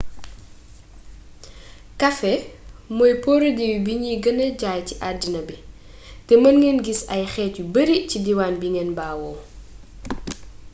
kafe mooy porodiwi buñuy gëna jaay ci addina bi te mën ngeen gis ay xeet yu bari ci diiwaan bi ngeen bawoo